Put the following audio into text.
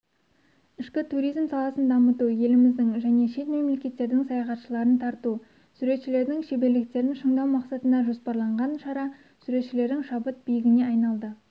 ішкі туризм саласын дамыту еліміздің және шет мемлекеттердің саяхатшыларын тарту суретшілердің шеберліктерін шыңдау мақсатында жоспарланған шара суретшілердің шабыт биігіне айналды